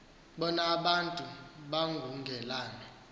bona abantu bangungelana